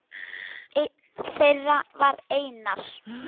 Einn þeirra var Einar